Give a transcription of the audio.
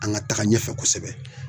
An ŋa taga ɲɛfɛ kosɛbɛ